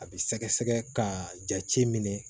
A bɛ sɛgɛsɛgɛ k'a jate minɛ